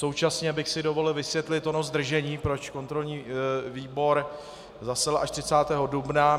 Současně bych si dovolil vysvětlit ono zdržení, proč kontrolní výbor zasedal až 30. dubna.